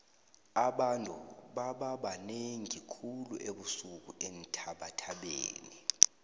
abantu bababanengi khulu ebusuku eenthabathabeni